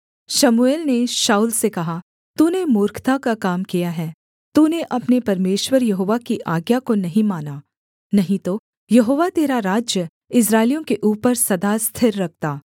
शमूएल ने शाऊल से कहा तूने मूर्खता का काम किया है तूने अपने परमेश्वर यहोवा की आज्ञा को नहीं माना नहीं तो यहोवा तेरा राज्य इस्राएलियों के ऊपर सदा स्थिर रखता